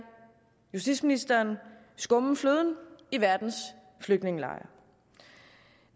justitsministeren skumme fløden i verdens flygtningelejre